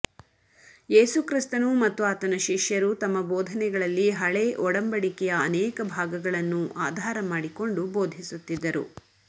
ಯೇಸು ಕ್ರಿಸ್ತನು ಮತ್ತು ಆತನ ಶಿಷ್ಯರು ತಮ್ಮ ಭೋದನೆಗಳಲ್ಲಿ ಹಳೆ ಒಡಂಬಡಿಕೆಯ ಅನೇಕ ಭಾಗಗಳನ್ನು ಆಧಾರ ಮಾಡಿಕೊಂಡು ಭೋದಿಸುತ್ತಿದ್ದರು